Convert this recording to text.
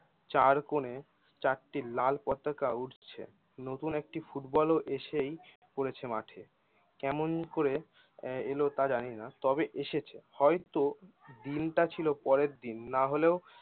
চারকোণে চারটি লাল পতাকা উড়ছে। নতুন একটি ফুটবল ও এসেই পড়েছে মাঠে কেমন করে এলো তা জানিনা তবে এসেছে হয়তো দিনটা ছিল পরের দিন না হলেও